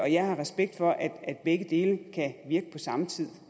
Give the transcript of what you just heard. jeg har respekt for at at begge dele kan virke på samme tid